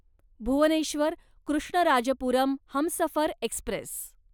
Bhubaneswar Krishnarajapuram Humsafar Express